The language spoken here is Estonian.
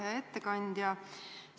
Hea ettekandja!